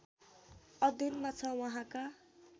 अध्ययनमा छ उहाँका